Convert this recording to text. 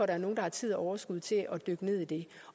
er nogen der har tid og overskud til dykke ned i det